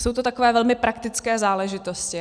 Jsou to takové velmi praktické záležitosti.